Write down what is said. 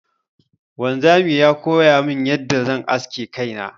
Wanzamin ya koyamin yadda zan aske kaina.